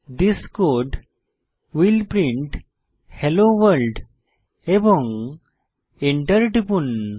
this code will print hello world এবং enter টিপুন